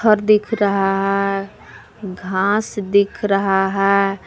और दिख रहा है घास दिख रहा है।